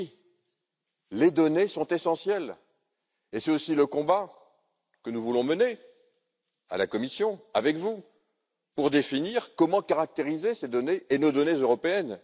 Oui, les données sont essentielles, et c'est aussi le combat que nous voulons mener à la Commission, avec vous, pour définir comment caractériser ces données et nos données européennes.